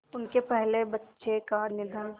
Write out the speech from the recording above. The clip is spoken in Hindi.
उनके पहले बच्चे का निधन